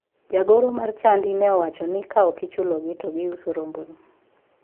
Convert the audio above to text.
Jagoro mar chadi ne owacho ni ka ok ochulogi to giuso rombono.